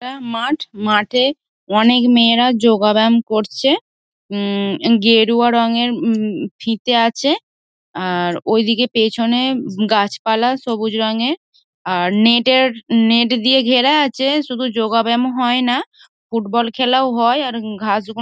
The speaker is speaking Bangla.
অ্যা মাঠ মাঠে অনেক মেয়েরা যোগা ব্যায়াম করছে হু গেরুয়া রংয়ের উম ফিতে আছে আর ওইদিকে পেছনে গাছপালা সবুজ রঙের আর নেট র নেট দিয়ে ঘেরা আছে শুধু যোগা ব্যায়াম হয়না ফুটবল খেলাও হয় আর ঘাস গুল--